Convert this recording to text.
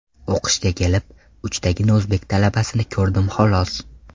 O‘qishga kelib, uchtagina o‘zbek talabasini ko‘rdim xolos.